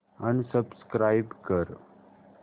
unsubscribe कर